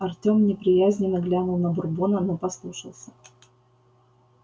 артем неприязненно глянул на бурбона но послушался